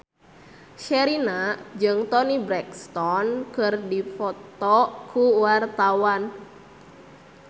Sherina jeung Toni Brexton keur dipoto ku wartawan